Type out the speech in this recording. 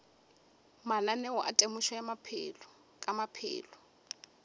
mananeo a temošo ka maphelo